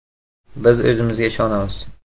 Biz o‘zimizga ishonamiz.